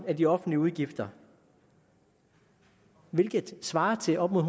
af de offentlige udgifter hvilket svarer til op mod